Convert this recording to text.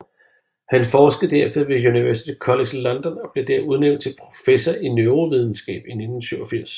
Han forskede derefter ved University College London og blev der udnævnt til professor i neurovidenskab i 1987